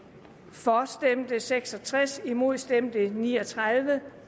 for stemte seks og tres imod stemte ni og tredive